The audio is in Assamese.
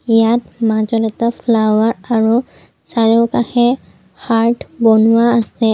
ইয়াত মাজত এটা ফ্লাৱাৰ আৰু চাৰিওকাষে হাৰ্ট বনোৱা আছে।